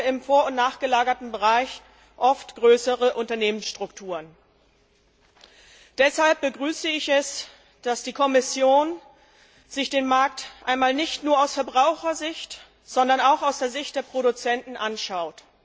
Im vor und nachgelagerten Bereich haben wir hingegen oft größere Unternehmensstrukturen. Deshalb begrüße ich es, dass die Kommission sich den Markt einmal nicht nur aus Verbrauchersicht, sondern auch aus der Sicht der Produzenten anschaut.